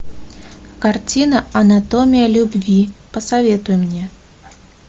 картина анатомия любви посоветуй мне